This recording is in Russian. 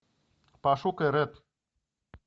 пошукай рэд